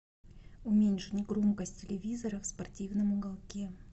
уменьшить громкость телевизора в спортивном уголке